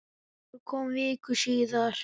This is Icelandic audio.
Ólafur kom viku síðar.